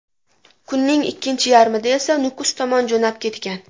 Kunning ikkinchi yarmida esa Nukus tomon jo‘nab ketgan.